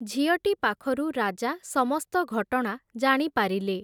ଝିଅଟି ପାଖରୁ ରାଜା ସମସ୍ତ ଘଟଣା ଜାଣିପାରିଲେ ।